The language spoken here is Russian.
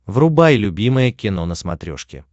врубай любимое кино на смотрешке